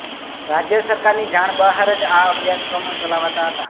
રાજ્ય સરકારની જાણ બહાર જ આ અભ્યાસક્રમો ચલાવાતા હતા